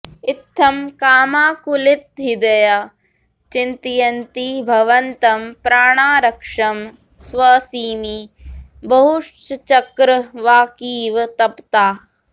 इत्थं कामाकुलितहृदया चिन्तयन्ती भवन्तं प्राणारक्षं श्वसिमि बहुशश्चक्रवाकीव तप्ता